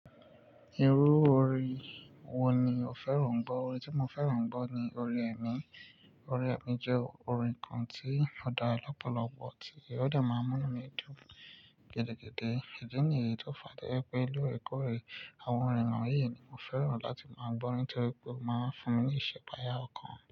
Irú orin wo ni o fẹ́ràn gbọ́? Orin tí mo fẹ́ràn gbọ́ ni orin ẹ̀mí. Orin ẹ̀mí jẹ́ orin kan tí ó dá lọ̀pọ̀lọpọ̀ tí ó de máa ń múnu mi dún gidigidi. Ìdí nìyí tí ó fa toye pé lórẹ̀kọ́re àwọn orin wọ̀nyí ni mo fẹ́ràn láti máa gbọ́ nítorí pé ó máa ń fún mi ní ìṣẹ̀pàyà ọkàn.